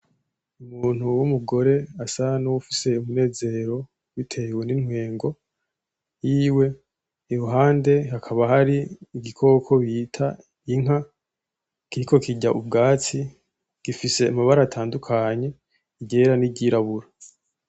Umuntu w'umugore asa n'uwufise umunezero bitewe n'intwengo yiwe iruhande hakaba hari igikoko bita inka kiriko kirya ubwatsi gifise amabara atandukanye iryera n'iryirabura.